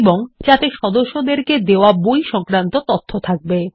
এবং যাতে সদস্যদেরকে দেওয়া বই সংক্রান্ত তথ্য থাকবে